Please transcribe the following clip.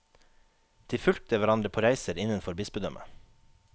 De fulgte hverandre på reiser innenfor bispedømmet.